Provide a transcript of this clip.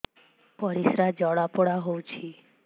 ପରିସ୍ରା ଜଳାପୋଡା ହଉଛି